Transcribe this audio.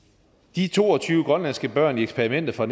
de to og tyve grønlandske børn i eksperimentet fra